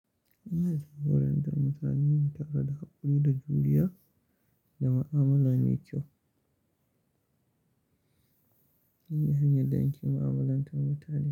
Ina da ma'amalantar mutane tare da haƙuri da juriya da ma'amala mai kyau. Ina hanyar don ƙin ma'amalantar mutane.